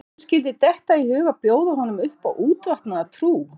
Að þeim skyldi detta í hug að bjóða honum upp á útvatnaða trú?